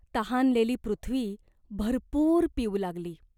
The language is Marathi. तहानलेली पृथ्वी भरपूर पिऊ लागली.